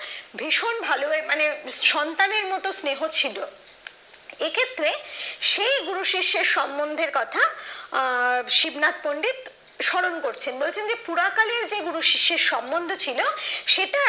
ভীষণ ভালো মানে সন্তানের মত স্নেহ ছিল এক্ষেত্রে সেই গুরু শিষ্যের সম্বন্ধের কথা আহ শিবনাথ পন্ডিত স্মরণ করছেন বলছেন যে পুরা কালের যে গুরু শিষ্যের সম্বন্ধ ছিল সেটা